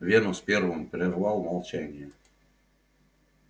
венус первым прервал молчание